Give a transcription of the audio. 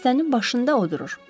Dəstənin başında o durur.